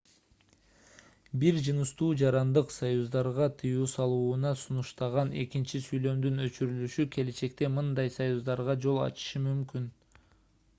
бир жыныстуу жарандык союздарга тыюу салууна сунуштаган экинчи сүйлөмдүн өчүрүлүшү келечекте мындай союздарга жол ачышы мүмкүн